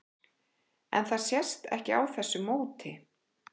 En það sést ekki á þessu móti?